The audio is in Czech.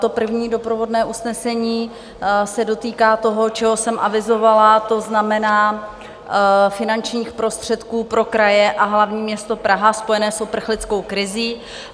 To první doprovodné usnesení se dotýká toho, čeho jsem avizovala, to znamená finančních prostředků pro kraje a hlavní město Prahu spojené s uprchlickou krizí.